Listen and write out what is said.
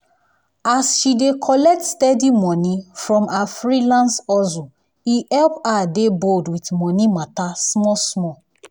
as she dey collect steady money from her freelance hustle e help her dey bold with money matter small small.